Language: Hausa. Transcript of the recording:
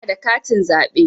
Ina da katin zaɓe.